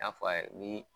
N y'a fɔ a' ye ni